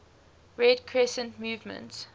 red crescent movement